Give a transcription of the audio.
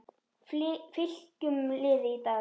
Fylkjum liði í dag